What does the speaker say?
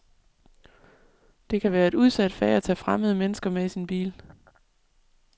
Det kan være et udsat fag at tage fremmede mennesker med i sin bil.